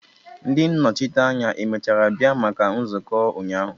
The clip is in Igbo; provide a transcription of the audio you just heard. Ndi nnochite anya emechara bịa maka nzuko ụnyahụ?